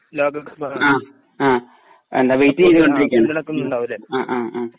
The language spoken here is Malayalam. ലോകകപ്പാണ് ഉണ്ടാവുലെ